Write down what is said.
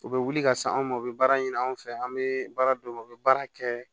U bɛ wuli ka se anw ma u bɛ baara ɲini anw fɛ an bɛ baara d'u ma u bɛ baara kɛ